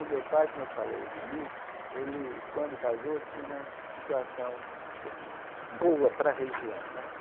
O meu pai, como eu falei no início, ele quando casou, tinha uma situação boa para a região né.